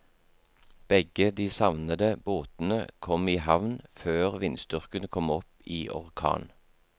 Begge de savnede båtene kom i havn før vindstyrken kom opp i orkan.